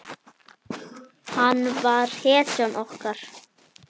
Hann var hetjan okkar.